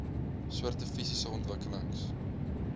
soorte fisiese ontwikkelings